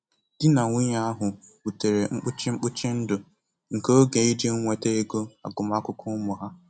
Di na nwunye ahụ butere mkpuchi mkpuchi ndụ nke oge iji nweta ego agụmakwụkwọ ụmụ ha.